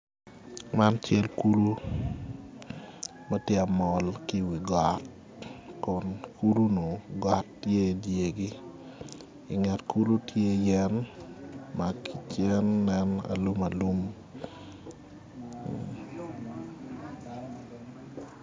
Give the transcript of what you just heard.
Man cal kulu ma tye ka mol ki iwi got Kun kulunu got tye idyergi inget kulu tye yen ma ki cen nen alumalum